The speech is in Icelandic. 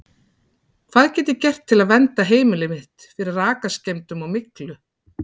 Hvað get ég gert til að vernda heimilið mitt fyrir rakaskemmdum og myglu?